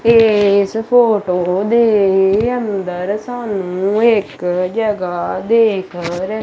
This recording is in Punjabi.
ਏਸ ਫੋਟੋ ਦੇ ਅੰਦਰ ਸਾਨੂੰ ਇੱਕ ਜਗਾ ਦੇਖ ਰਹੀ।